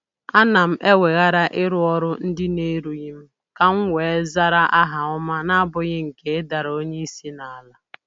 Ana m eweghara ịrụ ọrụ ndị na-erurughị m ka m wee zara aha ọma n'abụghị nke ịdara onye isi n'ala